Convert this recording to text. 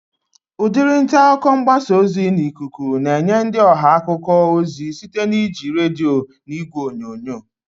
Udiri ntaakụkọ mgbasa ozi n'ikuku na-enye ndị ọha akụkọ ozi site na iji redio na ìgwè onyonyo